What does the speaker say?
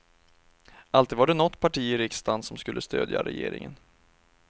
Alltid var det något parti i riksdagen som skulle stödja regeringen.